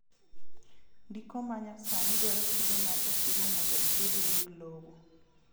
Ndiko ma nyasani dwaro chudo mar osuru mondo ibed weg lowo